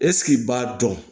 Ɛseke i b'a dɔn